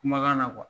Kumakan na